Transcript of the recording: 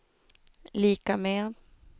lika med